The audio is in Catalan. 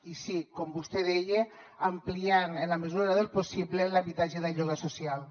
i sí com vostè deia ampliant en la mesura del possible l’habitatge de lloguer social